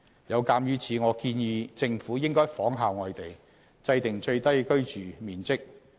有鑒於此，我建議政府應仿效外地，制訂最低居住面積。